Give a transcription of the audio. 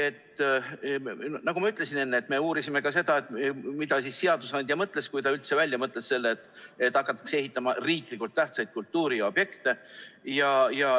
Nagu ma ütlesin enne, me uurisime ka seda, mida seadusandja mõtles, kui ta üldse välja mõtles selle, et hakatakse ehitama riiklikult tähtsaid kultuuriobjekte.